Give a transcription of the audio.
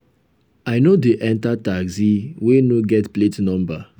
i no dey enta taxi wey no get plate number.